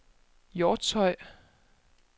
Hjortshøj